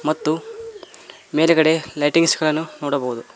ಮತ್ತು ಮೇಲ್ಗಡೆ ಲೈಟಿಂಗ್ಸ್ ಗಳನ್ನು ನೋಡಬಹುದು.